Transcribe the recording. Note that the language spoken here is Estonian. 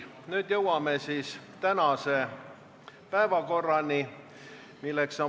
Nüüd jõuame tänase päevakorrapunkti käsitlemiseni.